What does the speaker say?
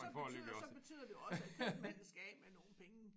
Så betyder så betyder det også at købmanden skal af med nogle penge